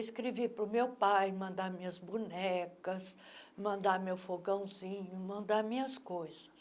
Escrevi para o meu pai mandar minhas bonecas, mandar meu fogãozinho, mandar minhas coisas.